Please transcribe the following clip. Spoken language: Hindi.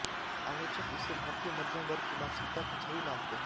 आलोचक इसे भारतीय मध्यम वर्ग की मानसिकता की छवि मानते हैं